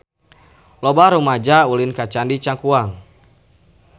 Loba rumaja ulin ka Candi Cangkuang